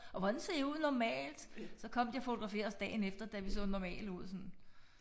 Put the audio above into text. Og hvordan ser I ud normalt? Så kom de og fotograferede os dagen efter da vi så normale ud sådan